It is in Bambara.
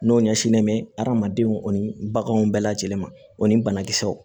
N'o ɲɛsinnen mɛ hadamadenw ni baganw bɛɛ lajɛlen ma o ni banakisɛw